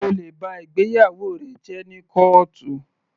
O lè ba ìgbéyàwó rẹ jẹ́ ní kọ́ọ̀tù.